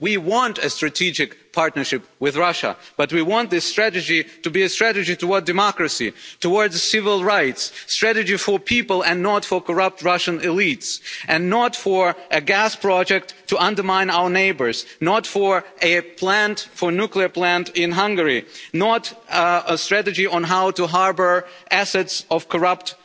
We want a strategic partnership with Russia, but we want this strategy to be a strategy towards democracy and towards civil rights, a strategy for people and not for corrupt Russian elites, and not for a gas project to undermine our neighbours, not for a nuclear plant in Hungary, and not a strategy on how to harbour the assets of corrupt